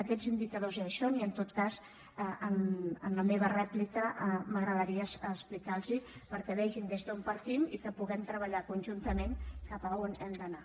aquests indicadors ja hi són i en tot cas en la meva rèplica m’agradaria explicar los els perquè vegin des d’on partim i que puguem treballar conjuntament cap a on hem d’anar